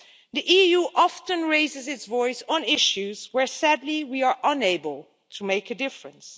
The EU often raises its voice on issues where, sadly, we are unable to make a difference.